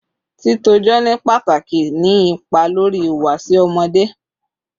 Titọjọ ni pataki ni ipa lori ihuwasi ọmọde